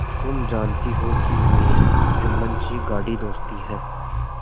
तुम जानती हो कि मेरी जुम्मन से गाढ़ी दोस्ती है